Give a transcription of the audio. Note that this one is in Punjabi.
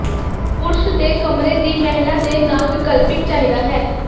ਪੁਰਸ਼ ਦੇ ਕਮਰੇ ਦੀ ਮਹਿਲਾ ਦੇ ਨਾਲ ਵਿਕਲਪਿਕ ਚਾਹੀਦਾ ਹੈ